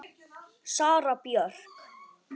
Sara Björk.